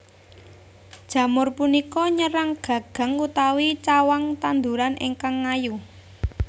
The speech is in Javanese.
Jamur punika nyerang gagang utawi cawang tanduran ingkang ngayu